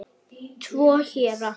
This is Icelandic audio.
Tvo héra